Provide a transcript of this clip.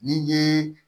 N'i ye